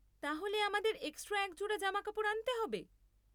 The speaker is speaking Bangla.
তাহলে আমাদের এক্সট্রা এক জোড়া জামাকাপড় আনতে হবে?